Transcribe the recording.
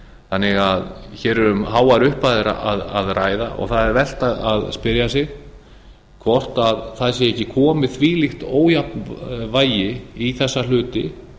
þannig að hér er um háar upphæðir að ræða og það er vert að spyrja sig hvort það sé ekki komið þvílíkt ójafnvægi í þessa hluti